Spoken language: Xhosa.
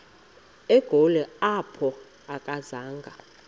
egoli apho akazanga